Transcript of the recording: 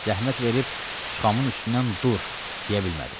Zəhmət verib Çıxamın üstündən dur, deyə bilmədim.